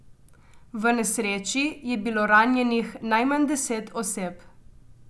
V nesreči je bilo ranjenih najmanj deset oseb.